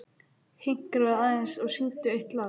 Hinkraðu aðeins og syngdu eitt lag enn.